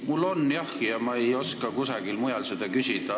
Mul on jah, ma ei oska kusagilt mujalt küsida.